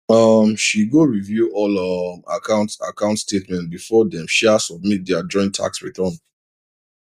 um she go review all um account account statements before dem sha submit their joint tax return